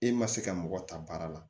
E ma se ka mɔgɔ ta baara la